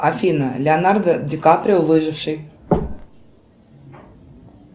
афина леонардо ди каприо выживший